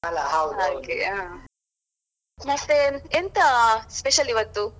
ಮತ್ತೆ ಎಂತಾ special ಇವತ್ತು?